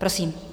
Prosím.